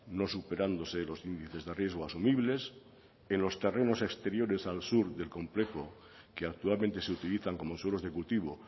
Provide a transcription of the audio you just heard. no superándose los índices de riesgo asumibles en los terrenos exteriores al sur del complejo que actualmente se utilizan como suelos de cultivo